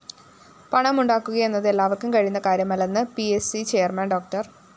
പണം ഉണ്ടാക്കുകയെന്നത് എല്ലാവര്‍ക്കും കഴിയുന്ന കാര്യമല്ലെന്ന് പി സ്‌ സി ചെയർമാൻ ഡോ